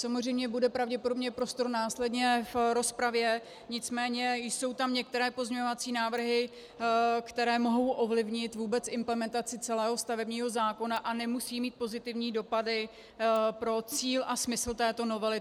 Samozřejmě bude pravděpodobně prostor následně v rozpravě, nicméně jsou tam některé pozměňovací návrhy, které mohou ovlivnit vůbec implementaci celého stavebního zákona a nemusí mít pozitivní dopady pro cíl a smysl této novely.